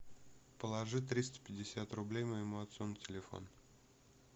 положи триста пятьдесят рублей моему отцу на телефон